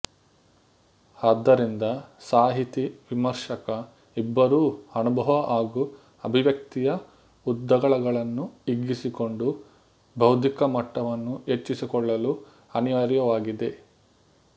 ಆದ್ದರಿಂದ ಸಾಹಿತಿ ವಿಮರ್ಶಕ ಇಬ್ಬರೂ ಅನುಭವ ಹಾಗೂ ಅಭಿವ್ಯಕ್ತಿಯ ಉದ್ದಗಲಗಳನ್ನು ಹಿಗ್ಗಿಸಿಕೊಂಡು ಬೌದ್ಧಿಕಮಟ್ಟವನ್ನು ಹೆಚ್ಚಿಸಿಕೊಳ್ಳಲು ಅನಿವಾರ್ಯವಾಗಿದೆ